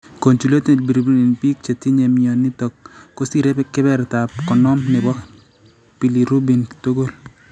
Conjugated bilirubin eng' biik chetinye mionitok kosire kebebertap 50 nebo bilirubin tugul